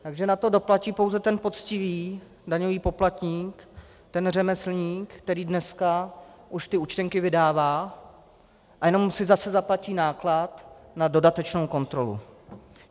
Takže na to doplatí pouze ten poctivý daňový poplatník, ten řemeslník, který dneska už ty účtenky vydává, a jenom si zase zaplatí náklad na dodatečnou kontrolu.